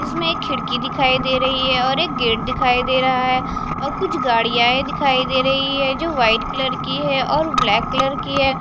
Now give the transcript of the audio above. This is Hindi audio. इसमें एक खिड़की दिखाई दे रही है और एक गेट दिखाई दे रहा है और कुछ गाड़ियाँ दिखाई दे रही हैं जो व्हाईट कलर की हैं और ब्लैक कलर की हैं।